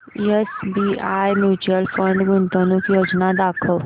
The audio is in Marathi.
एसबीआय म्यूचुअल फंड गुंतवणूक योजना दाखव